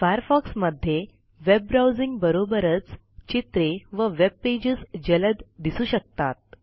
Firefox मध्ये web browsing बरोबरच चित्रे व वेब पेजेस जलद दिसू शकतात